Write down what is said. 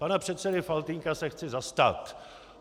Pana předsedy Faltýnka se chci zastat.